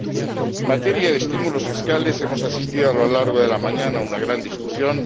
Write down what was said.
En materia de estímulos fiscales, hemos asistido a lo largo de la mañana a una gran discusión.